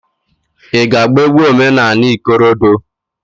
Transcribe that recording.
I ga -agba egwu omenanị ikorodo?